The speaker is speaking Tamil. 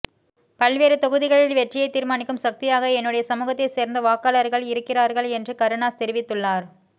பல்வேறு தொகுதிகளில் வெற்றியை தீர்மானிக்கும் சக்தியாக என்னுடைய சமூகத்தைச் சேர்ந்த வாக்காளர்கள் இருக்கிறார்கள் என்று கருணாஸ் தெரிவித்துள்ளார்